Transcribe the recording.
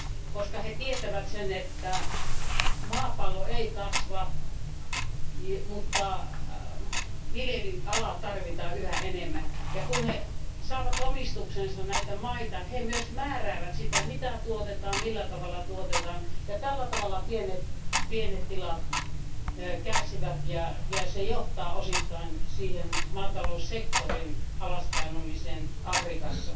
koska he tietävät sen, että maapallo ei kasva, mutta viljelyalaa tarvitaan yhä enemmän, ja kun he saavat omistukseensa näitä maita, he myös määräävät siitä, mitä tuotetaan, millä tavalla tuotetaan, ja tällä tavalla pienet tilat kärsivät ja se johtaa osittain siihen maataloussektorin alas painumiseen Afrikassa.